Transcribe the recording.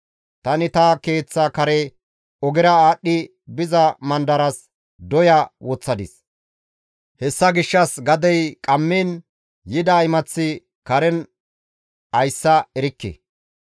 Tani ta keeththa kare ogera aadhdhi biza mandaras doya woththadis. Hessa gishshas gadey qammiin yida imaththi karen ayssa erikke.